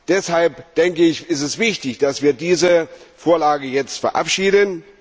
Deshalb ist es wichtig, dass wir diese Vorlage jetzt verabschieden.